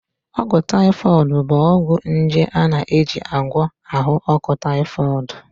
Ọgwụ taifọịd bụ ọgwụ nje a na-eji agwọ ahụ ọkụ taifọịd